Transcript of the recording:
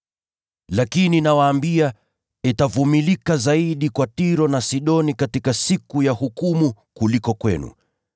Lakini nawaambia, itakuwa rahisi zaidi kwa Tiro na Sidoni kustahimili katika siku ya hukumu, kuliko ninyi.